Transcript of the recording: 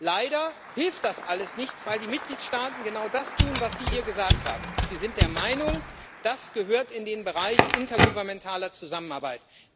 Leider hilft das alles nichts, weil die Mitgliedstaaten genau das tun, was Sie hier gesagt haben Sie sind der Meinung, das gehört in den Bereich intergovernmentaler Zusammenarbeit.